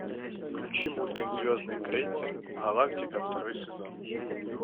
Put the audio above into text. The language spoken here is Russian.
включи мультик звездный крейсер галактика второй сезон